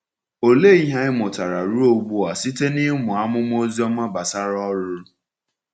Ọ̀lee ihe anyị mụtara ruo ugbu a site n’ịmụ amụma Ozioma gbasara “ọrụ”?